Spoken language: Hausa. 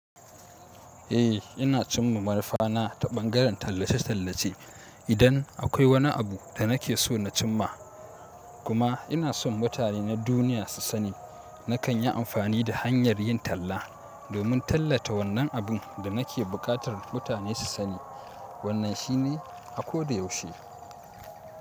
Eh ina cimma manufa na ta ɓangaren tallace tallace idan akwai wani abu da nake so na cimma. Kuma ina son mutane na duniya su sani. Nakan yi amfani da hanyar yin talla domin tallata wannan abun da nake buƙatar mutane su sani. Wannan shine a ko da yaushe.